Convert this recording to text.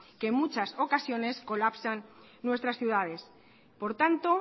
que en muchas ocasiones colapsan nuestras ciudades por tanto